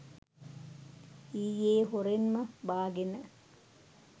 ඊයේ හොරෙන්ම බාගෙන